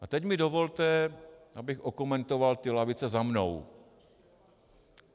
A teď mi dovolte, abych okomentoval ty lavice za mnou.